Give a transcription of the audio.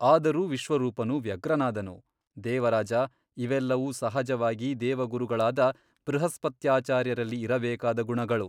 ಆದರೂ ವಿಶ್ವರೂಪನು ವ್ಯಗ್ರನಾದನು ದೇವರಾಜ ಇವೆಲ್ಲವೂ ಸಹಜವಾಗಿ ದೇವಗುರುಗಳಾದ ಬೃಹಸ್ಪತ್ಯಾಚಾರ್ಯರಲ್ಲಿ ಇರಬೇಕಾದ ಗುಣಗಳು.